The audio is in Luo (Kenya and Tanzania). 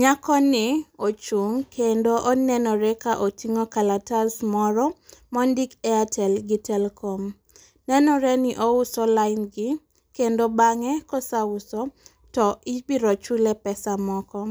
Nyako ni ochung' kendo onenore ka oting'o kalatas moro ma ondik Airtel gi telkom. Nenore ni ouso line gi, kendo bang'e kosauso, to ibiro chule pesa moko.